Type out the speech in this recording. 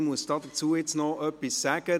Ich muss dazu noch etwas sagen: